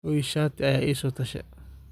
Xoyo shati aya iisotoshe.